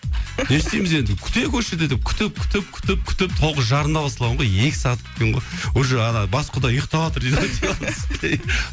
не істейміз енді күтейік осы жерде деп күтіп күтіп күтіп күтіп тоғыз жарымда басталған ғой екі сағат күткен ғой уже ана бас құда ұйықтаватыр дейді ғой диван үстінде